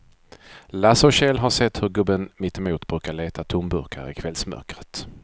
Lasse och Kjell har sett hur gubben mittemot brukar leta tomburkar i kvällsmörkret.